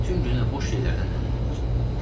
Bütün günü də boş şeylərdən dəm vururlar.